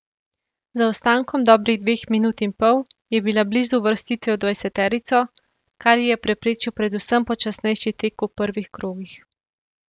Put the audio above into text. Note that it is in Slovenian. Z zaostankom dobrih dveh minut in pol je bila blizu uvrstitve v dvajseterico, kar ji je preprečil predvsem počasnejši tek v prvih krogih.